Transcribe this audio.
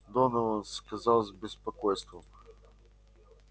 донован сказал с беспокойством